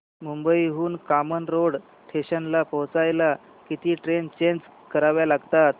मुंबई हून कामन रोड स्टेशनला पोहचायला किती ट्रेन चेंज कराव्या लागतात